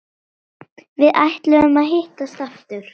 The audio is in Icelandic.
Við ætluðum að hittast aftur.